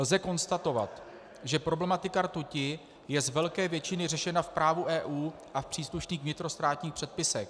Lze konstatovat, že problematika rtuti je z velké většiny řešena v právu EU a v příslušných vnitrostátních předpisech.